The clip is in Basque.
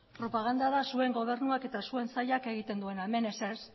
propaganda da zuen gobernuak eta zuen sailak egiten duena hemen ez